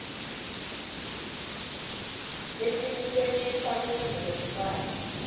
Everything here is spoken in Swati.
lecinisekisa kutsi lomntfwana